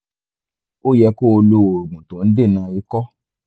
ó yẹ kó o lo oògùn tó ń dènà ikọ́